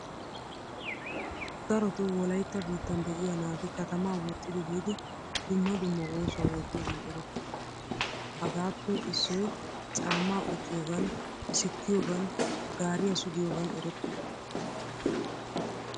Daroto wolaytta biittan de'iyaa naati katama woxxidi biidi dumma dumma oosuwaa oottiyogan erettoosna. Hagaappe issoy caama qucciyogan, sikkiyogan gaariyaa sugiyogan erettoosona.